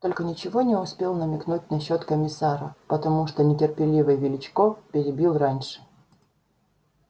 только ничего не успел намекнуть насчёт комиссара потому что нетерпеливый величко перебил раньше